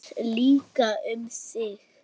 Mér líka um þig.